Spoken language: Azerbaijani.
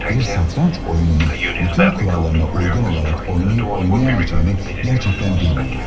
Bir satranç oyununu bütün kurallarına uygun olaraq oynayıb-oynaya biləcəyimi gerçekten bilmiyorum.